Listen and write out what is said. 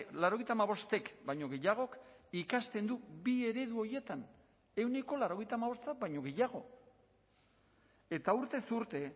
laurogeita hamabostek baino gehiagok ikasten du bi eredu horietan ehuneko laurogeita hamabosta baino gehiago eta urtez urte